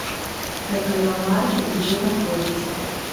экономаркет где находится